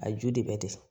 A ju de bɛ desan